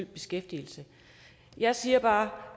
beskæftigelse jeg siger bare